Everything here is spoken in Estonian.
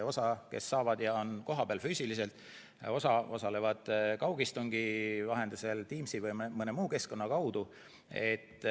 Osa, kes saavad, on füüsiliselt kohal, osa osalevad kaugistungi vahendusel Teamsi või mõne muu keskkonna kaudu.